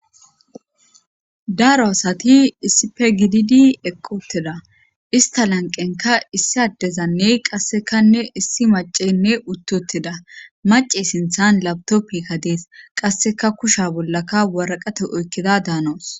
daro asati isipe gididi eqqi utida ista lanqenka issi addezanne qassekanne issi macenne uttiutida mace sinthan labtoppika dees qasseka kusha bollaka waraqate oykkida daanoos